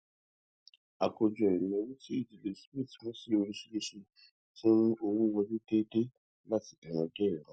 àkójọ ìnáwó tí ìdílé smith pín sí oríṣiríṣi ti ń mú owó wọlé déédéé láti ìran dé ìran